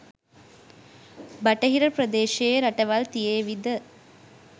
බටහිර ප්‍රදේශයේ රටවල් තියේවි ද?